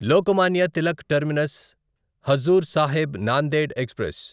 Lokmanya Tilak Terminus Hazur Sahib Nanded express